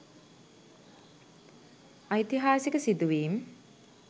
ඓතිහාසික සිදුවීම්